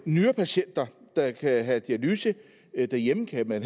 nyrepatienter der kan have dialyse derhjemme kan man